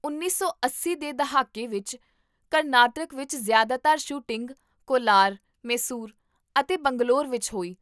ਉੱਨੀ ਸੌ ਅੱਸੀ ਦੇ ਦਹਾਕੇ ਵਿੱਚ ਕਰਨਾਟਕ ਵਿੱਚ ਜ਼ਿਆਦਾਤਰ ਸ਼ੂਟਿੰਗ ਕੋਲਾਰ, ਮੈਸੂਰ ਅਤੇ ਬੰਗਲੌਰ ਵਿੱਚ ਹੋਈ